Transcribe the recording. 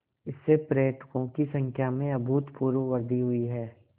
इससे पर्यटकों की संख्या में अभूतपूर्व वृद्धि हुई है